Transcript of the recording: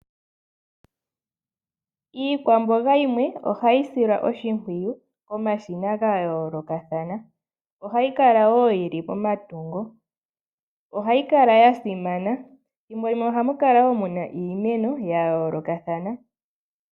Iikwamboga yimwe oha yi silwa oshimpwiyu komashina ga yoolokathana. Oha yi kala wo yi li momatungo, oha yi kaka ya simana. Thimbolimwe oha mu kala muna iimeno ya yoolokathana.